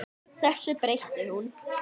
Þessu breytti hún.